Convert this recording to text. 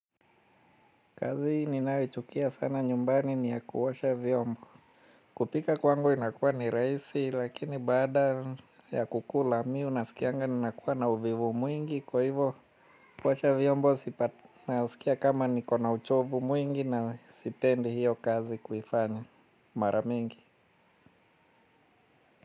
Kazi ninayochukia sana nyumbani ni ya kuosha vyombo. Kupika kwangu inakuwa ni rahisi lakini baada ya kukula mimi nasikianga ninakuwa na uvivu mwingi kwa hivyo kuosha vyombo nasikia kama niko na uchovu mwingi na sipendi hiyo kazi kuifanya mara mingi.